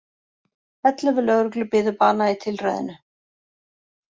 Ellefu lögreglu biðu bana í tilræðinu